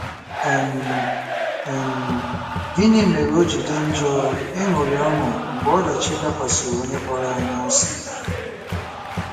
um um Gịnị mere o ji dị njọ ịṅụrị ọṅụ mgbe ọdachi dakwasịrị onye kpọrọ anyị asị?